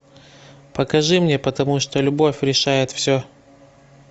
покажи мне потому что любовь решает все